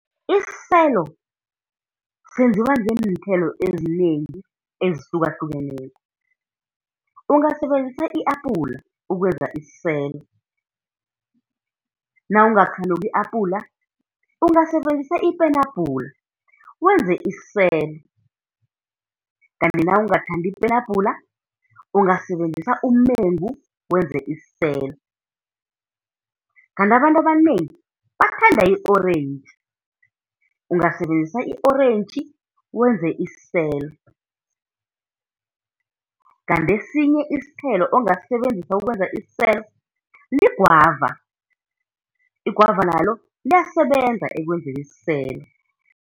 Isiselo senziwa ngeenthelo ezinengi ezihlukahlukeneko. Ungasebenzisa i-apula ukwenza isiselo, nawungakhanuki i-apula ungasebenzisa ipenabhula, wenze isiselo, kanti nawungathandi ipenabhula, ungasebenzisa umengu wenze isiselo. Kanti abantu abanengi bathanda i-orentji, ungasebenzisa i-orentji wenze isiselo. Kanti esinye isithelo ongasisebenzisa ukwenza isiselo ligwava, igwava nalo liyasebenza ekwenzeni isiselo.